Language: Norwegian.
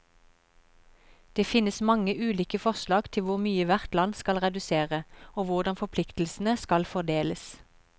Det finnes mange ulike forslag til hvor mye hvert land skal redusere, og hvordan forpliktelsene skal fordeles.